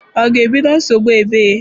Ọ ga-ebido nsogbu egbe?